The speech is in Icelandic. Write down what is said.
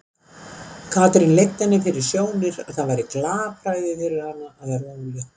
Katrín leiddi henni fyrir sjónir að það væri glapræði fyrir hana að verða ólétt.